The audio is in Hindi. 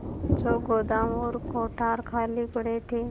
जो गोदाम और कोठार खाली पड़े थे